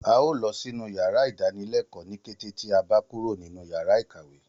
A óò lọ sínú yàrá ìdánilẹ́kọ̀ọ́ ní kété tí a bá kúrò nínu yàrá ìkàwé